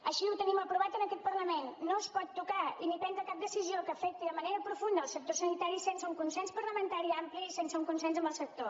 així ho tenim aprovat en aquest parlament no es pot tocar ni prendre cap decisió que afecti de manera profunda el sector sanitari sense un consens parlamentari ampli ni sense un consens amb el sector